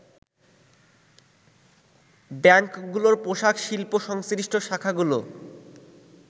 ব্যাংকগুলোর পোশাক শিল্প-সংশ্লিষ্ট শাখাগুলো